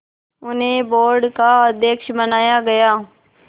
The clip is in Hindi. उन्हें बोर्ड का अध्यक्ष बनाया गया